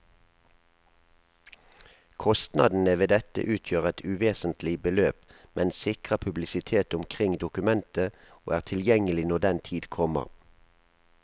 Kostnadene ved dette utgjør et uvesentlig beløp, men sikrer publisitet omkring dokumentet og er tilgjengelig når den tid kommer.